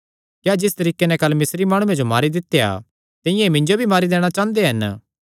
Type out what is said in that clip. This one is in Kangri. क्या जिस तरीके नैं तैं कल मिस्री माणुये जो मारी दित्या तिंआं ई मिन्जो भी मारी दैणा चांह़दा ऐ